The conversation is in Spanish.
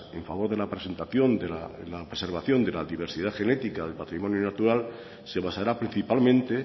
en favor de la presentación de la preservación de la diversidad genética del patrimonio natural se basará principalmente